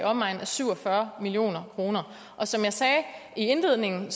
omegnen af syv og fyrre million kroner som jeg sagde i indledningen